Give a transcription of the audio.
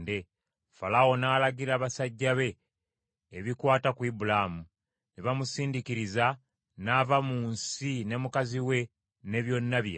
Falaawo n’alagira basajja be ebikwata ku Ibulaamu, ne bamusindiikiriza n’ava mu nsi ne mukazi we ne byonna bye yalina.